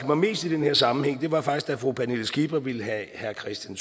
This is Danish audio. mig mest i den her sammenhæng var faktisk da fru pernille skipper ville have herre kristian